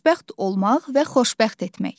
Xoşbəxt olmaq və xoşbəxt etmək.